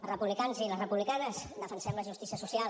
els republicans i les republicanes defensem la justícia social